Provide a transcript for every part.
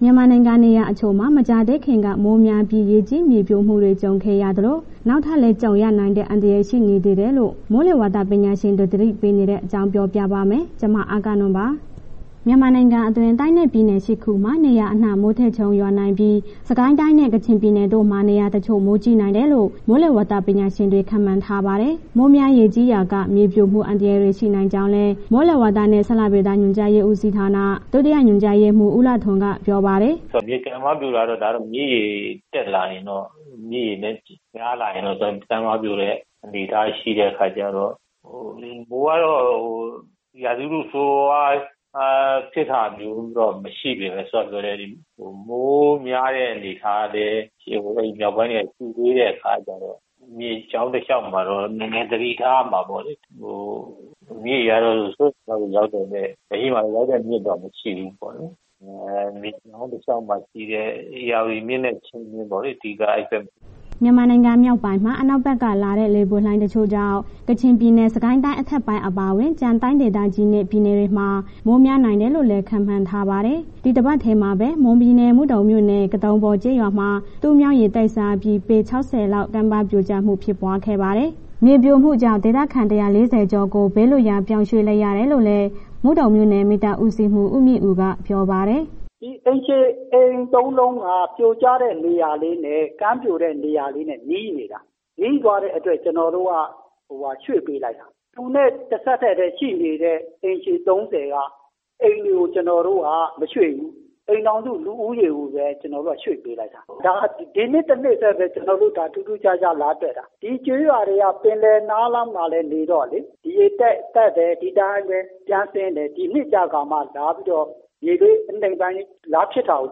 မြန်မာနိုင်ငံ နေရာတချို့မှာ မကြာသေးခင်က မိုးများပြီး ရေကြီးမြေပြိုမှုတွေ ကြုံခဲ့ရသလို၊ နောက်ထပ်လည်း ကြုံရနိုင်တဲ့ အန္တရယ် ရှိနေသေးတယ်လို့ မိုးလေဝသပညာရှင်တွေ သတိပေးနေတဲ့အကြောင်း အဂ္ဂနွန် ပြောပြာပါမယ်။ မြန်မာနိုင်ငံအတွင်း တိုင်းနဲ့ ပြည်နယ် ၈ ခုမှာ နေရာအနှံ့ မိုးထစ်ချုန်းရွာနိုင်ပြီး စစ်ကိုင်းတိုင်းနဲ့ ကချင်ပြည်နယ်တို့မှာ နေရာတချို့ မိုးကြီးနိုင်တယ်လို့ မိုးလေဝသပညာရှင်တွေ ခန့်မှန်းထားပါတယ်။ မိုးများရေကြီးရာက မြေပြိုမှု အန္တရာယ်တွေ ရှိနိုင်ကြောင်းလည်း မိုးလေဝသနဲ့ ဇလဗေဒညွှန်ကြားရေးဦးစီးဌာန ဒုတိယညွှန်ကြားရေးမှူး ဦးလှထွန်းက ပြောပါတယ်။ “မြစ်ကမ်းပါးပြိုတာတော့ ဒါကမြစ်ရေတက်လာရင်တော့ မြစ်ရေများလာရင်တော့ ကမ်းပါပြိုတဲ့ အနေအထားရှိတဲ့အခါကျတော့၊ ဟို မိုးကတော့ ရာသီဥတုဆိုးဆိုးဝါးဝါးတော့ ဖြစ်တာမျိုးတော့မရှိပေမယ့် စောစောကပြောတဲ့ မိုးများတဲ့အနေအထားလည်း မြောက်ပိုင်းတွေက ရှိသေးတဲ့ အခါကျတော့ မြစ်ကြောင်းတစ်လျှောက်မှာတော့ နည်းနည်းသတိထားရမှာပေါ့လေ။မြစ်ရေကတော့ စိုးရိမ်ရေမှတ်ရောက်တာ လက်ရှိမှာ စိုးရိမ်ရေမှတ်ရောက်တဲ့မြစ်တော့ မရှိဘူးပေါ့လေး၊ အဲ့ မြစ်ကြောင်းတစ်လျှောက်မှာရှိတဲ့ ဧရာဝတီမြစ်နဲ့ ချင်းတွင်းမြစ်ပေါ့လေး အဓိက အဲ့ဘက်မှာ။” မြန်မာနိုင်ငံ မြောက်ပိုင်းမှာ အနောက်ဘက်က လာတဲ့ လေပွေလှိုင်းတချို့ကြောင့် ကချင်ပြည်နယ်၊ စစ်ကိုင်းတိုင်းအထက်ပိုင်း အပါအဝင် ကျန်တိုင်းဒေသကြီးနဲ့ ပြည်နယ်တွေမှာ မိုးများနိုင်တယ်လို့လည်း ခန့်မှန်းထားပါတယ်။ ဒီတပတ်ထဲမှာပဲ မွန်ပြည်နယ် မုဒုံမြို့နယ် ကတုံပေါ်ကျေးရွာမှာ တူးမြောင်း ရေတိုက်စားပြီး ပေ ၆၀ လောက် ကမ်းပါးပြိုကျမှုဖြစ်ပွားခဲ့ပါတယ်။ မြေပြိုမှုကြောင့် ဒေသခံ ၁၄၀ ကျော်ကို ဘေးလွှတ်ရာပြောင်းရွှေ့လိုက်ရတယ်လို့လည်း မုဒုံမြို့နယ် မီးသတ်ဦးစီးမှူး ဦးမြင့်ဦး ကပြောပါတယ်။ “အိမ်ခြေ၊ အိမ်သုံးလုံးက ကမ်းပြိုတဲ့နေရာနဲ့ နီးနေတာ၊ နီးသွားတဲ့အတွက် ကျနော်တို့ ရွှေ့ပေးလိုက်တာ သူနဲ့ တစ်ဆက်တည်းပဲ ရှိနေတဲ့အိမ်ခြေ ၃၀ က အိမ်တွေကို ကျနော်တို့က မရွှေ့ဘူး၊ အိမ်ထောင်စု လူဦးရေကိုပဲ ကျနော်တို့က ရွှေ့ပေးလိုက်တာ၊ ဒါ ဒီနှစ်တစ်နှစ်ထဲပဲ ထူးထူးခြားခြားလာတွေ့တာ ဒီကျေးရွာတွေက ပင်လယ်နားလေးမှာ လာနေတော့လေဒီရေတက်တယ်၊ ဒီတိုင်းပဲ ပြန်ဆင်းတယ်၊ ဒီနှစ်ကျကာမှ လာပြီး မြေအနိမ့်ပိုင်းလေး လာဖြစ်တာကို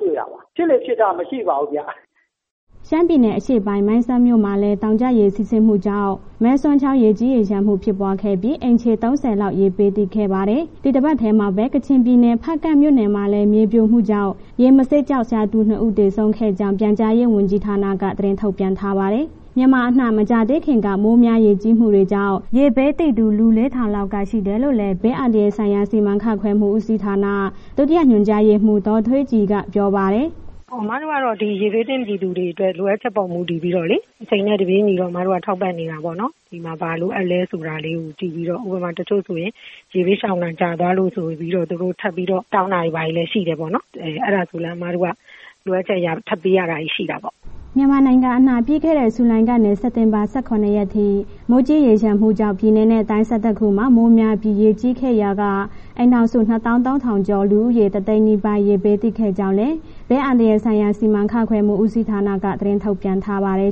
တွေ့တာပါ၊ ဖြစ်လေ့ဖြစ်ထတော့ မရှိပါဘူးဗျ။” ရှမ်းပြည်နယ်အရှေ့ပိုင်း မိုင်းဆတ်မြို့မှာလည် တောင်ကျရေစီးဆင်းမှုကြောင့် မယ်ဆွမ်ချောင်း ရေကြီးရေလျှံမှုဖြစ်ပွားခဲ့ပြီး အိမ်ခြေ ၃၀ လောက် ရေဘေးသင့်ခဲ့ပါတယ်။ ဒီတပတ်ထဲမှာပဲ ကချင်ပြည်နယ် ဖားကန့်မြို့နယ်မှာလည်း မြေပြိုကျမှုကြောင့် ရေမဆေးကျောက်ရှာသူ နှစ်ဦးသေဆုံးခဲ့ကြောင်း ပြန်ကြားရေးဝန်ကြီးဌာန သတင်းထုတ်ပြန်ထားပါတယ်။ မြန်မာအနှံ့ မကြာသေးခင်က မိုးများရေကြီးမှုတွေကြောင့် ရေဘေးသင့်သူ လူ ၄၀၀၀ လောက်ကရှိတယ်လို့လည်း ဘေးအန္တရာယ်ဆိုင်ရာစီမံခန့်ခွဲမှုဦးစီဌာန ဒုတိယ ညွှန်ကြားရေးမှူး ဒေါ်ထွေးကြည်က ပြောပါတယ်။ “အမတို့ကတော့ ဒီရေဘေးသင့် ပြည်သူတွေအတွက် လိုအပ်ချက်ပေါ်မူတည်ပြီးတော့လေး၊ အချိန်နဲ့ တပြေညီတော့ အမတို့က ထောက်ပံ့နေတာပေါ့နော်၊ ဒီမှာ ဘာလိုအပ်လဲဆိုတာလေးကို ကြည့်ပြီးတော့ ဥပမာ တချို့ဆိုရင် ရေဘေးရှောင်တာကြားသွားလို့ဆိုပြီးတော့ သူတို့ထပ်ပြီးတော့ တောင်းတာတွေ ဘာတွေလည်းရှိတယ်ပေါ့နော်၊ အဲ့ဒါကိုလည်း အမတို့က လိုအပ်ချက်အရ ထပ်ပေးရတာလည်း ရှိတာပေါ့။” မြန်မာနိုင်ငံအနှံ့ ပြီးခဲ့တဲ့ ဇူလိုင်ကနေ စက်တင်ဘာ ၁၇ ရက်ထိ မိုးကြီးရေလျှံမှုကြောင့် ပြည်နယ်နဲ့ တိုင်း ၁၁ ခုမှာ မိုးများပြီး ရေကြီးခဲ့ရာက အိမ်ထောင်စု ၂ သောင်း ၃ သုံးထောင်ကျော်၊ လူဦးရေ တစ်သိန်းနီးပါး ရေဘေးသင့်ခဲ့ကြောင်းလည်း ဘေးအန္တရာယ်ဆိုင်ရာ စီမံခန့်ခွဲမှုဦးစီဌာနက သတင်းထုတ်ပြန်ထားပါတယ်